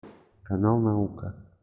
канал наука